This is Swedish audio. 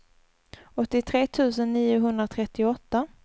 åttiotre tusen niohundratrettioåtta